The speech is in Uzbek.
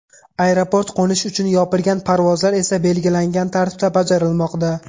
Aeroport qo‘nish uchun yopilgan, parvozlar esa belgilangan tartibda bajarilmoqda.